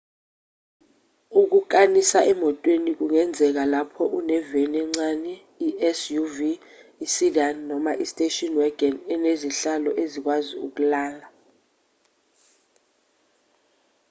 ukukanisa emotweni kungenzeka lapho uneveni encane i-suv isedan noma istation wagon esinezihlalo ezikwazi ukulala